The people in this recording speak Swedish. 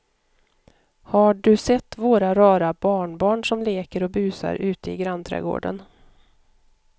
Har du sett våra rara barnbarn som leker och busar ute i grannträdgården!